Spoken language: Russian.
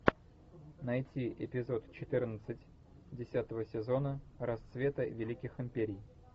найти эпизод четырнадцать десятого сезона расцвета великих империй